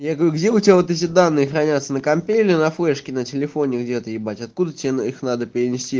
я говорю где у тебя вот эти данные хранятся на компе или на флешке на телефоне где-то ебать откуда тебе их надо перенести